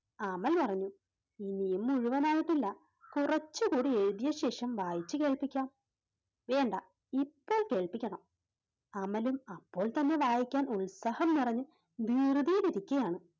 അമൽ പറഞ്ഞു ഇനിയും മുഴുവനായിട്ടില്ല കുറച്ചു കൂടി എഴുതിയ ശേഷം വായിച്ചു കേൾപ്പിക്കാം, വേണ്ട ഇപ്പോൾ കേൾപ്പിക്കണം അമലും അപ്പോൾ തന്നെ വായിക്കാൻ ഉത്സാഹം നിറഞ്ഞ് ധൃതിയിലിരിക്കുകയാണ്.